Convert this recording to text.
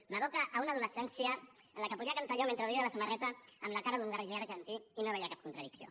m’evoca una adolescència en què ho podia cantar jo mentre duia la samarreta amb la cara d’un guerriller argentí i no hi veia cap contradicció